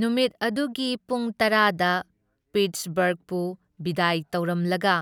ꯅꯨꯃꯤꯠ ꯑꯗꯨꯒꯤ ꯄꯨꯡ ꯇꯔꯥꯗ ꯄꯤꯠꯁꯕꯔꯒꯄꯨ ꯕꯤꯗꯥꯏ ꯇꯧꯔꯝꯂꯒ